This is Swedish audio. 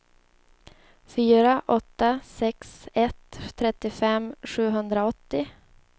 fyra åtta sex ett trettiofem sjuhundraåttio